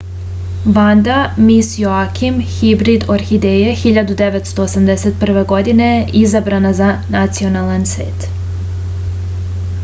vanda mis joakim hibrid orhideje 1981. godine je izabrana za nacionalan cvet